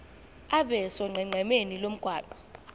abe sonqenqemeni lomgwaqo